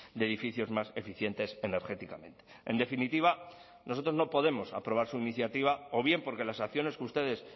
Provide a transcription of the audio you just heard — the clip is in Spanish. de edificios más eficientes energéticamente en definitiva nosotros no podemos aprobar su iniciativa o bien porque las acciones que ustedes